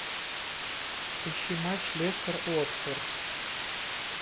ищи матч лестер уотфорд